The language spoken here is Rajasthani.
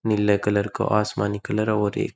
नीले कलर का आशमानी कलर और एक --